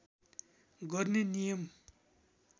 गर्ने नियम